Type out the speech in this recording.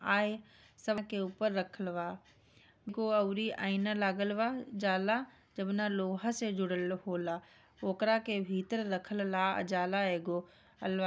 आए सड़क के ऊपर रखल बा एगो औरि आइना लागल बा जाला जब ना लोहा से जुड़ल होला ओकरा के भीतर रखल ला जाला एगो--